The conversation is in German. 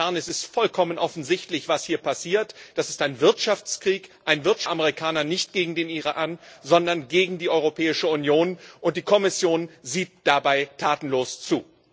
Es ist vollkommen offensichtlich, was hier passiert Das ist ein Wirtschaftskrieg der Amerikaner, nicht gegen den Iran, sondern gegen die Europäische Union, und die Kommission sieht dabei tatenlos zu.